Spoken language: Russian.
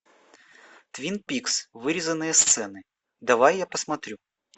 твин пикс вырезанные сцены давай я посмотрю